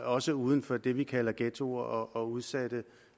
også uden for det vi kalder ghettoer og udsatte